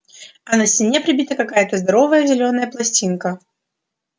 а на стене прибита какая-то здоровая зелёная пластинка